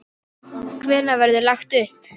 Hvenær verður lagt upp?